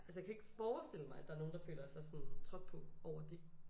Altså jeg kan ikke forestille mig at der er nogen der føler sig sådan trådt på over dét